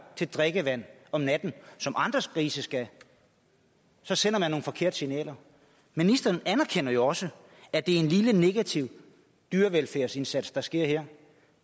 til drikkevand om natten som andre grise skal så sender man nogle forkerte signaler ministeren anerkender jo også at det er en lille negativ dyrevelfærdsindsats der sker her